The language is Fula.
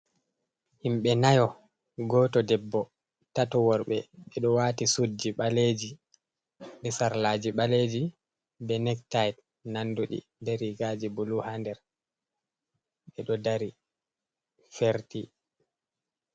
Himɓe nayo, gooto debbo ,tato worɓe. Ɓe ɗo waati suuɗji ɓaleji ,be sarlaaji ɓaleji ,be nektaay nanduɗi, be riigaji bulu haa nder, ɓe ɗo dari ferti.